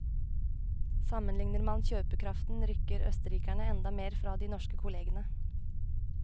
Sammenligner man kjøpekraften rykker østerrikerne enda mer fra de norske kollegene.